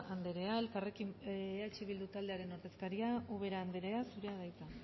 anderea eh bildu taldearen ordezkaria ubera anderea zurea da hitza